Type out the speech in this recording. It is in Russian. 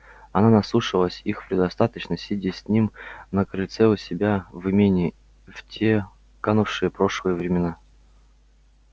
она наслушалась их предостаточно сидя с ним на крыльце у себя в имении в те канувшие в прошлое времена